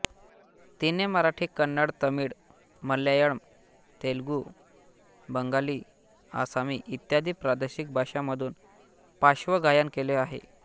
तिने मराठी कन्नड तमिळ मल्याळम तेलुगू बंगाली आसामी इत्यादी प्रादेशिक भाषांमधूनही पार्श्वगायन केले आहे